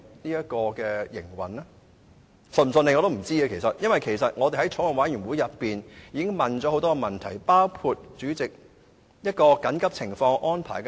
我也不知道高鐵是否會順利運作，因為我們在法案委員會提出了很多問題，包括緊急情況下的安排。